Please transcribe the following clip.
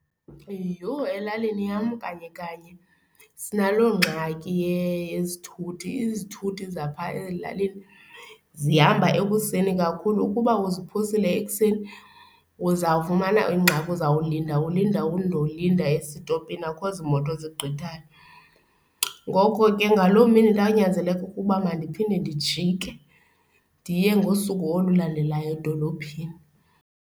Yho! Elalini yam kanye kanye sinalo ngxaki yezithuthi. Izithuthi zapha ezilalini zihamba ekuseni kakhulu ukuba uziphosile ekuseni, uzawufumana ingxaki uzawulinda ulinde undolinda esitopini akho zimoto zigqithayo. Ngoko ke ngaloo mini ndanyanzeleka ukuba mandiphinde ndijike ndiye ngosuku olulandelayo edolophini.